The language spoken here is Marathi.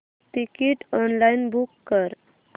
तिकीट ऑनलाइन बुक कर